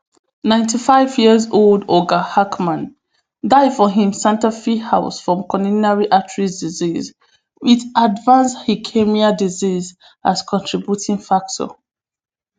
ninety-five years old oga hackman die for im santa fi house from corominary artery disease wit advanced disease as contributing factor